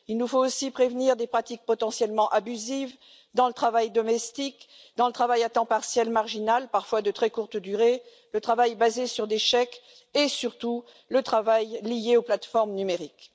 Il nous faut aussi prévenir des pratiques potentiellement abusives dans le travail domestique, dans le travail à temps partiel marginal, parfois de très courte durée, le travail basé sur des chèques et surtout le travail lié aux plateformes numériques.